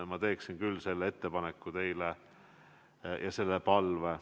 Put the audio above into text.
Ma teen küll selle ettepaneku teile ja esitan selle palve.